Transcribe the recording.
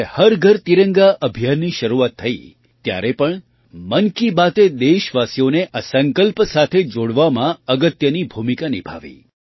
જ્યારે હર ઘર તિરંગા અભિયાનની શરૂઆત થઈ ત્યારે પણ મન કી બાતએ દેશવાસીઓને આ સંકલ્પ સાથે જોડવામાં અગત્યની ભૂમિકા નિભાવી